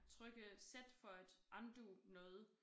Trykke z for at undo noget